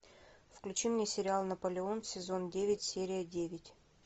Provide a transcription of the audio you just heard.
включи мне сериал наполеон сезон девять серия девять